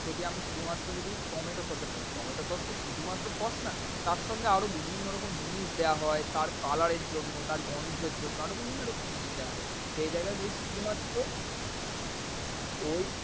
যদি আমি শুধুমাত্র যদি tomato sauce এর কথা tomato sauce তো শুধুমাত্র sauce না তারসঙ্গে বিভিন্ন রকম জিনিস দেয়া হয়। তার এর color জন্য তার গন্ধের জন্য আরও বিভিন্ন রকম জিনিস দেয়া। সেই জায়গায় যদি শুধুমাত্র, ঐ